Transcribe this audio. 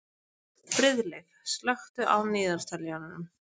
Friðleif, slökktu á niðurteljaranum.